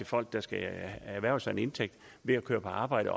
folk der skal erhverve sig en indtægt ved at køre på arbejde